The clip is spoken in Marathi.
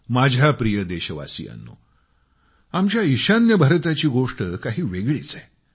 माझ्या प्रिय देशवासियांनो आमच्या ईशान्य भारताची गोष्ट काही वेगळीच आहे